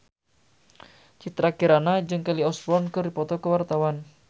Citra Kirana jeung Kelly Osbourne keur dipoto ku wartawan